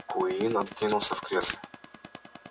куинн откинулся в кресле